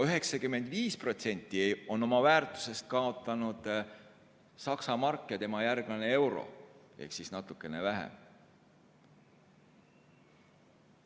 95% oma väärtusest on kaotanud Saksa mark ja tema järglane euro, seda on ainult natukene vähem.